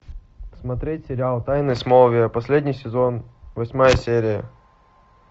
смотреть сериал тайны смолвиля последний сезон восьмая серия